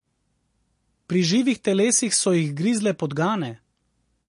Pri živih telesih so jih grizle podgane...